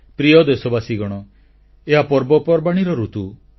ପ୍ରିୟ ଦେଶବାସୀଗଣ ଏହା ପର୍ବପର୍ବାଣୀର ଋତୁ